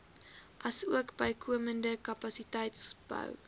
asook bykomende kapasiteitsbou